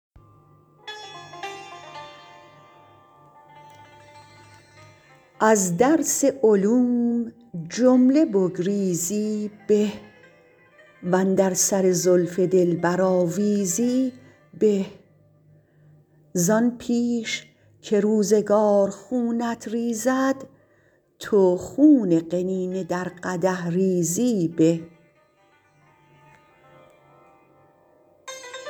از درس علوم جمله بگریزی به و اندر سر زلف دلبر آویزی به زآن پیش که روزگار خونت ریزد تو خون قنینه در قدح ریزی به